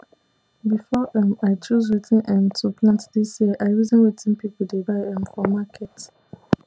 before um i choose wetin um to plant this year i reason wetin people dey buy um for market